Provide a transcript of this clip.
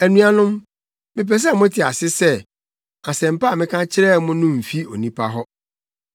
Anuanom, mepɛ sɛ mote ase sɛ Asɛmpa a meka kyerɛ mo no mfi onipa hɔ.